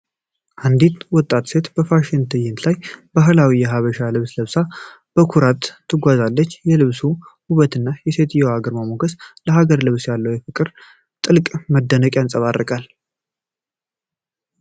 አንዲት ወጣት ሴት በፋሽን ትዕይንት ላይ ባህላዊ የሐበሻ ልብስ ለብሳ በኩራት ትጓዛለች። የልብሱ ውበትና የሴትየዋ ግርማ ሞገስ ለሀገር ልብስ ያለንን ፍቅርና ጥልቅ መደነቅ የንጸባርቃል።